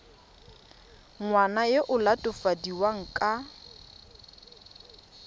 ngwana yo o latofadiwang ka